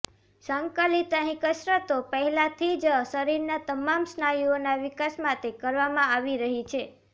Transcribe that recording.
સંકલિત અહીં કસરતો પહેલાથી જ શરીરના તમામ સ્નાયુઓના વિકાસ માટે કરવામાં આવી રહી છે